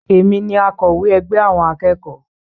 Èmi ni akowe ègbé àwọn akẹ́kọ̀ọ́